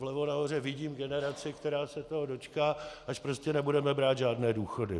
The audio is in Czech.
Vlevo nahoře vidím generaci, která se toho dočká, až prostě nebudeme brát žádné důchody.